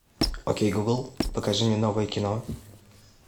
окей гугл покажи мне новое кино